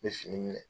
N bɛ fini minɛ